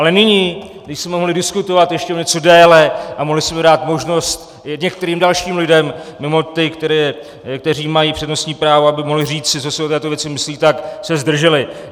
Ale nyní, když jsme mohli diskutovat ještě o něco déle a mohli jsme dát možnost některým dalším lidem mimo ty, kteří mají přednostní právo, aby mohli říci, co si o této věci myslí, tak se zdrželi.